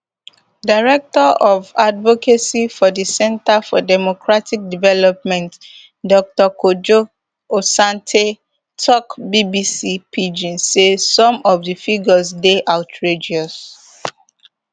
director of advocacy for di centre for democratic development dr kojo asante tok bbc pidgin say some of di figures dey outrageous